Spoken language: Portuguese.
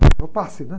É o passe, né?